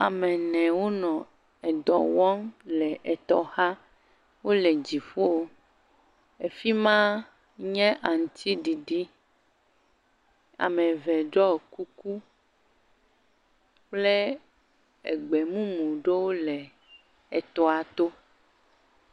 Ame wonɔ edɔ wɔm le etɔ xa. Wòle dziƒo. Afima nye aŋutiɖiɖi. Ame eve ɖɔ kuku kple Egbe mumu ɖewo le etɔa tɔ.